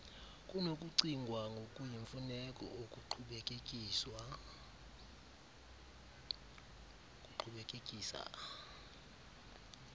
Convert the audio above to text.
kunokucingwa ngokuyimfuneko ukuqhubekekisa